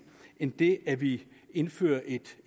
end det at vi indfører et